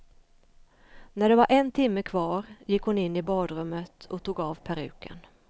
När det var en timme kvar gick hon in i badrummet och tog av peruken.